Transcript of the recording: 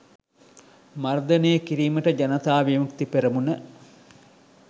මර්ධනය කිරීමට ජනතා විමුක්ති පෙරමුණ